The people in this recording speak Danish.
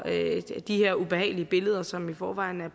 de her ubehagelige billeder som i forvejen er